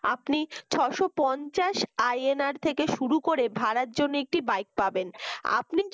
আপনি ছয় শ পঞ্চাশ INR থেকে শুরু করে ভাড়ার জন্য একটি bike পাবেন। আপনি